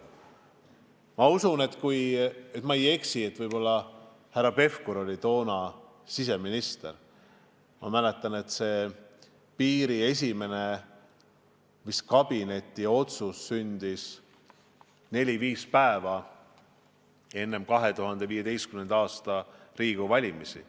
Ma usun, et ma ei eksi, et härra Pevkur oli toona siseminister, ja ma mäletan, et esimene kabineti otsus piiri kohta sündis neli-viis päeva enne 2015. aasta Riigikogu valimisi.